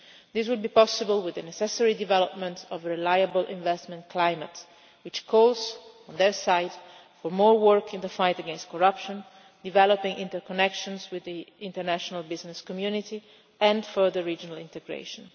This would be possible with the necessary development of a reliable investment climate which calls for, on their side, more work in the fight against corruption, developing interconnections with the international business community and further regional integration.